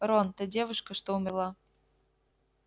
рон та девушка что умерла